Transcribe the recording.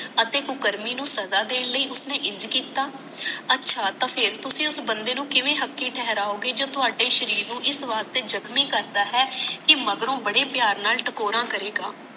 ਅਤੇ ਕੁਕਰਮੀ ਨੂੰ ਸਜਾ ਦੇਣ ਲਈ ਉਸਨੇ ਇੰਝ ਕੀਤਾ ਅੱਛਾ ਤਾਂ ਫੇਰ ਤੁਸੀ ਉਸ ਬੰਦੇ ਨੂੰ ਕਿਵੇਂ ਹਕੀ ਠਹਿਰਾਯੋਗੇ ਜਦੋ ਥੋੜੇ ਸ਼ਰੀਰ ਨੂੰ ਇਸ ਬਾਤ ਤੇ ਜਖਮੀ ਕਰਦਾ ਹੈ ਕਿ ਮਗਰੋਂ ਬੜੇ ਪਿਆਰ ਨਾਲ ਟਕੋਰਾਂ ਕਰੇਗਾ